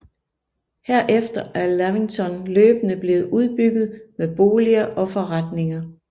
Herefter er Lavington løbende blev udbygget med boliger og forretninger